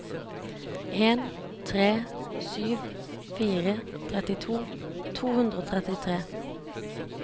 en tre sju fire trettito to hundre og trettitre